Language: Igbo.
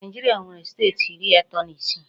Naijiria nwere steeti iri ato na isii